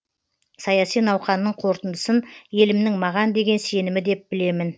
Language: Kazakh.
саяси науқанның қорытындысын елімнің маған деген сенімі деп білемін